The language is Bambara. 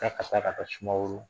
K'a ka taa ka taa sumaworo